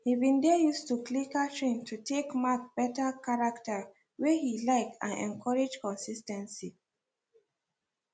he been they use clicker train to take mark better character wey he like and encourage consis ten cy